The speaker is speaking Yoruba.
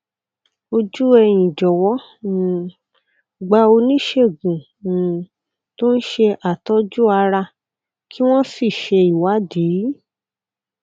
ojú ẹyìn jọwọ um gba oníṣègùn um tó ń ṣe àtọjú ara kí wọn sì ṣe ìwádìí